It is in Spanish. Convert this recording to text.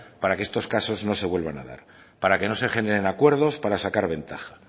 para que estos casos no se vuelvan a dar para que no se generen acuerdos para sacar ventaja